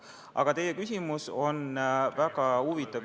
Aga teie küsimus on väga huvitav.